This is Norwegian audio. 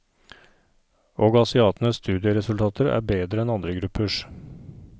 Og asiatenes studieresultater er bedre enn andre gruppers.